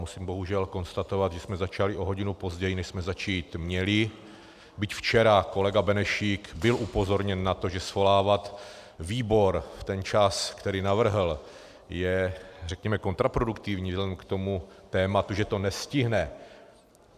Musím bohužel konstatovat, že jsme začali o hodinu později, než jsme začít měli, byť včera kolega Benešík byl upozorněn na to, že svolávat výbor v ten čas, který navrhl, je řekněme kontraproduktivní vzhledem k tomu tématu, že to nestihne.